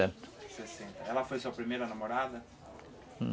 Ela foi a sua primeira namorada?